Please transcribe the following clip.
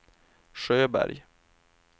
Sjöberg